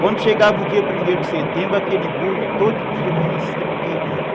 Quando chegava o dia primeiro de setembro, aquele burro todo dia amanhecia no terreiro.